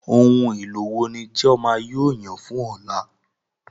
Ohun èlò wo ni Chioma yóò yàn fún ọ̀la?